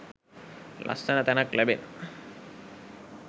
ලස්සන තැනක් ලැබෙන